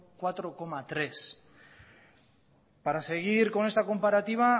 cuatro coma tres para seguir con esta comparativa